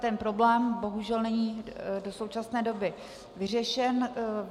Ten problém bohužel není do současné doby vyřešen.